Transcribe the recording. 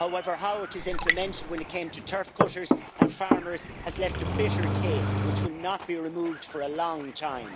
However, how it was implemented when it came to turf cutters and farmers has left a bitter taste which will not be removed for a long time.